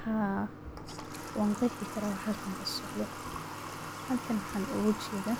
Haa wan qeexi karaa waxa halkan ka socdo, halkan waxan oga jeeda